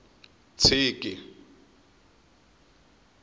ntshiki